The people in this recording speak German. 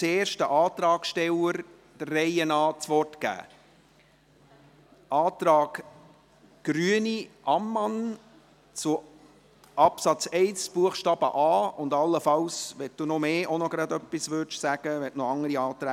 Zuerst spricht Christa Ammann für den Antrag der Grünen zu Absatz 1 Buchstabe a und allenfalls auch zu den anderen Anträgen, wenn sie noch solche hat.